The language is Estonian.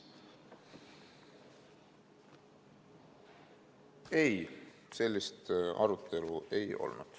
Ei, sellist arutelu ei olnud.